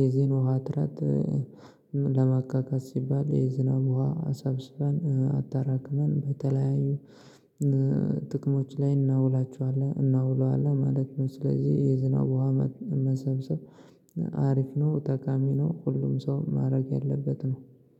የዚህን ውሃ እጥረት። ለማካካስ ሲባል የዝናብ ውሃ አሰብስበን አጠራቅመን በተለያዩ ጥቅሞች ላይ እናውላቸዋለን እናዉለዋለን ማለት ነው። ስለዚህ የዝናብ ዉሃ መሰብሰብ አሪፍ ነው ጠቃሚ ነው። ሁሉም ሰው ማድረግ ያለበት ነው